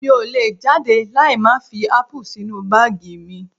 Mi ò lè jáde láì má fi ápù sínú báàgì mi